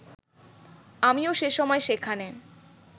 আমিও সেসময় সেখানে